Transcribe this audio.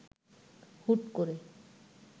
হুট করে